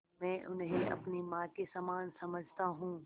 मैं उन्हें अपनी माँ के समान समझता हूँ